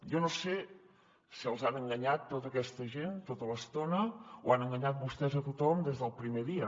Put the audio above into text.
jo no sé si els han enganyat tota aquesta gent tota l’estona o han enganyat vostès a tothom des del primer dia